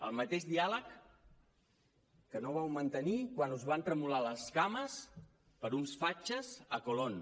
el mateix diàleg que no vau mantenir quan us van tremolar les cames per uns fatxes a colón